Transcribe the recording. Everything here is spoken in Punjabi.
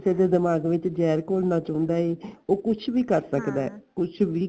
ਕਿਸੇ ਦੇ ਦਿਮਾਗ ਵਿਚ ਜਹਿਰ ਘੋਲਣਾ ਚਾਉਂਦਾ ਏ ਉਹ ਕੁੱਝ ਵੀ ਕਰ ਸਕਦਾ ਕੁੱਝ ਵੀ